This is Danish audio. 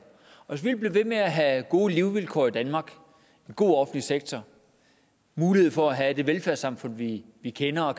og vil blive ved med at have gode levevilkår i danmark en god offentlig sektor mulighed for at have det velfærdssamfund vi vi kender og